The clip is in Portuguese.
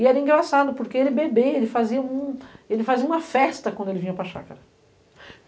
E era engraçado, porque ele bebe, ele fazia um um, ele fazia uma festa quando ele vinha para a chácara.